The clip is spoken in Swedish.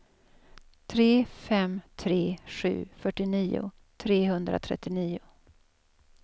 tre fem tre sju fyrtionio trehundratrettionio